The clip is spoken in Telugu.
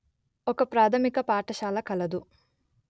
ఒక ప్రాథమిక పాఠశాల కలదు